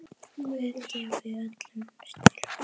Guð gefi ykkur öllum styrk.